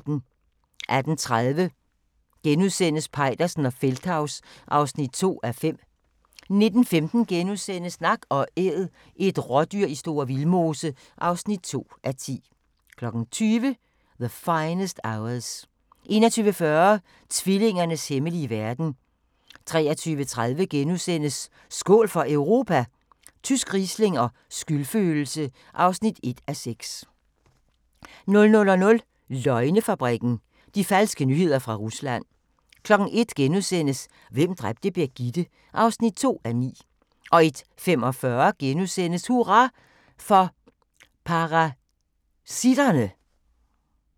18:30: Peitersen og Feldthaus (2:5)* 19:15: Nak & Æd – et rådyr i Store Vildmose (2:10)* 20:00: The Finest Hours 21:40: Tvillingernes hemmelige verden 23:30: Skål for Europa? Tysk riesling og skyldfølelse (1:6)* 00:00: Løgnefabrikken – de falske nyheder fra Rusland * 01:00: Hvem dræbte Birgitte (5:9)* 01:45: Hurra for parasitterne! *